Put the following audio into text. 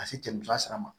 Ka se tɛmɛtɔ sira ma